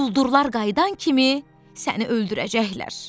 Quldurlar qayıdan kimi səni öldürəcəklər.